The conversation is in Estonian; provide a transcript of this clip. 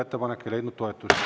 Ettepanek ei leidnud toetust.